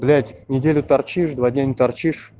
блять неделю торчишь два дня не торчишь